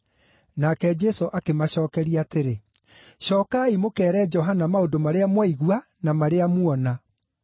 Nake Jesũ akĩmacookeria atĩrĩ, “Cookai mũkeere Johana maũndũ marĩa mwaigua na marĩa muona: